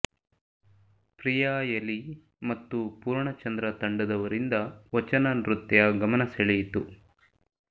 ಪ್ರಿಯಾ ಎಲಿ ಮತ್ತು ಪೂರ್ಣಚಂದ್ರ ತಂಡದವರಿಂದ ವಚನ ನೃತ್ಯ ಗಮನ ಸೆಳೆಯಿತು